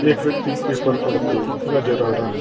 एक व्यक्ति पेपर पढ़ते नजर आ रहा है।